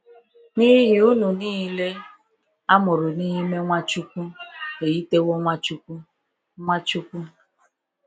N'ihi unu nille amụrụ n'ime Nwachukwu eyitewo Nwachukwu. Nwachukwu.